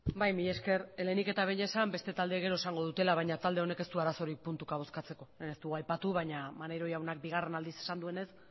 bai mila esker lehenik eta behin esan beste taldeek gero esango dutela baina talde honek ez du arazorik puntuka bozkatzeko ez dugu aipatu baina maneiro jaunak bigarren aldiz esan duenez